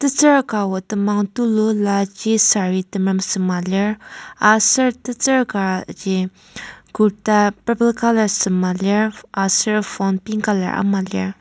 tetsür kabo temang tulu laji saree temerem sema lir aser tetsür kaji kurta purple colour sema lir aser phone pink colour ama lir.